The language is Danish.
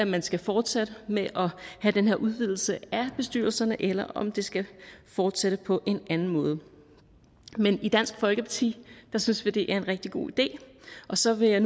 man skal fortsætte med at have den her udvidelse af bestyrelserne eller om det skal fortsætte på en anden måde men i dansk folkeparti synes vi det er en rigtig god idé så vil jeg